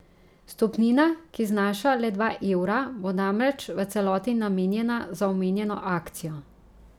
Vstopnina, ki znaša le dva evra, bo namreč v celoti namenjena za omenjeno akcijo.